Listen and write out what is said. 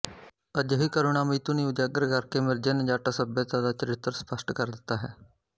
ਅਜਿਹੀ ਕਰੁਣਾਮਈ ਧੁਨੀ ਉਜਾਗਰ ਕਰਕੇ ਮਿਰਜ਼ੇ ਨੇ ਜੱਟ ਸੱਭਿਅਤਾ ਦਾ ਚਰਿੱਤਰ ਸਪਸ਼ਟ ਕਰ ਦਿੱਤਾ ਹੈ